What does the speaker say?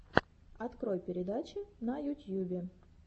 открой передачи на ютьюбе